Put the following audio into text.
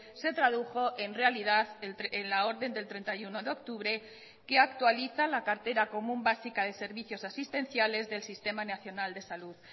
se tradujo en realidad en la orden del treinta y uno de octubre que actualiza la cartera común básica de servicios asistenciales del sistema nacional de salud